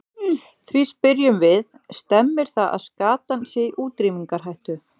Því spyrjum við, stemmir það að skatan sé í útrýmingarhættu?